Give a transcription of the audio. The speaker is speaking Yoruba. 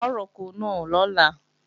A ó roko náà lọ́la